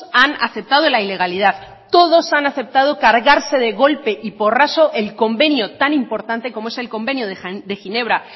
han aceptado la ilegalidad todos han aceptado cargarse de golpe y porrazo el convenio tan importante como es el convenio de ginebra